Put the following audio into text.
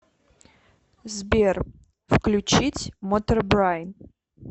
сбер включить мотербрайн